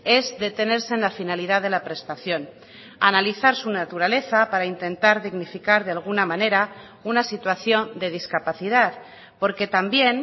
es detenerse en la finalidad de la prestación analizar su naturaleza para intentar dignificar de alguna manera una situación de discapacidad porque también